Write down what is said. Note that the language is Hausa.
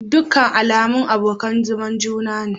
Dukkan al'ummu abokan zaman juna ne.